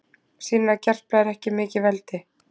Sýnir að Gerpla er mikið veldi